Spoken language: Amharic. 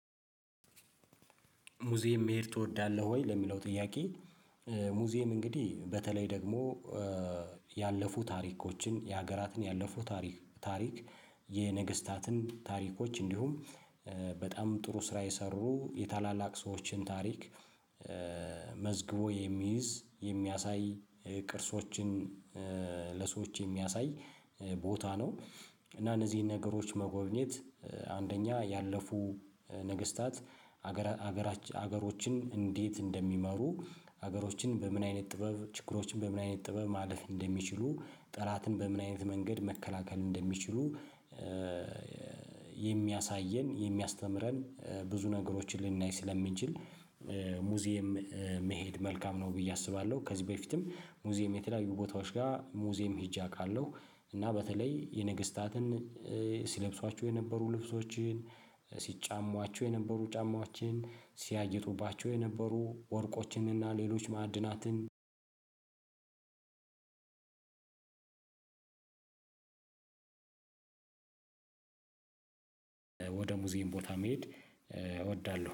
ሙዚየም መሄድ ትወዳለህ ወይ ለሚለው ጥያቄ? ሙዚየም እንግዲህ በተለይ ደግሞ ያለፉ ታሪኮችን የሀገራትን ያለፉ ታሪክ የነገስታትን ታሪኮች እንዲሁም በጣም ጥሩ ስራ የሰሩ የታላላቅ ሰዎችን ታሪክ መዝግቦ የሚይዝ የሚያሳይ የቅርሶችን ለሰዎች የሚያሳይ ቦታ ነው። እና እነዚህን ነገሮች መጎብኘት አንደኛ ያለፉ ነገስታት ሀገራችን ሀገሮችን እንዴት እንደሚመሩ ሀገሮችን በምን አይነት ጥበብ ችግሮችን በምን አይነት ጥበብ ማለፍ እንደሚችሉ ጠላትን በምን አይነት መንገድ መከላከል እንደሚችሉ። የሚያሳየን የሚያስተምረን ብዙ ነገሮችን ልናይ ስለምንችል ሙዚየም መሄድ መልካም ነው ብዬ አስባለሁ። ከዚህ በፊትም ሙዚየም የተለያዩ ቦታዎች ጋር ሙዚየም ሄጄ አውቃለሁ። እና በተለይ የነገስታትን ሲለብሷቸው የነበሩ ልብሶችን ሲጫሟቸው የነበሩ ጫማችን ሲያጌጡባቸው የነበሩ ወርቆችንና ሌሎች ማዕድናትን ሙዚየም ቦታ መሄድ እወዳለሁ